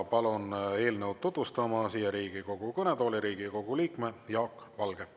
Palun eelnõu tutvustama siia Riigikogu kõnetooli Riigikogu liikme Jaak Valge.